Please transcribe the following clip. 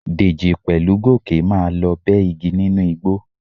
Dèjì pẹ̀lú Gòkè máa lọ bẹ́ igi nínú igbó.